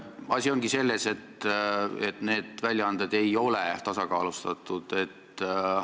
Asi ongi selles, et need väljaanded ei ole tasakaalustatud.